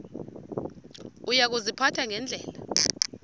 uya kuziphatha ngendlela